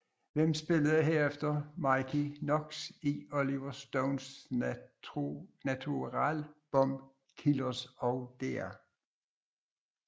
Han spillede herefter Mickey Knox i Oliver Stones Natural Born Killers og Dr